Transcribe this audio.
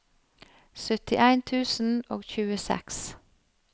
syttien tusen og tjueseks